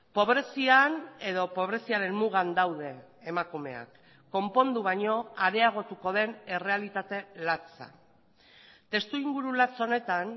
pobrezian edo pobreziaren mugan daude emakumeak konpondu baino areagotuko den errealitate latza testuinguru latz honetan